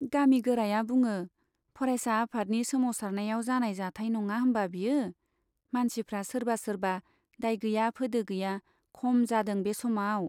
गामि गोराया बुङो , फरायसा आफादनि सोमावसारनायाव जानाय जाथाइ नङा होम्बा बियो ? मानसिफ्रा सोरबा सोरबा दाय गैया फोदो गैया खम जादों बे समाव !